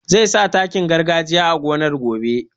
Zai sa takin gargajiya a gonar gobe